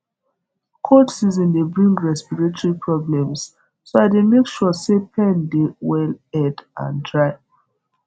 cold season dey bring respiratory problems so i dey make sure pen dey well aired and dry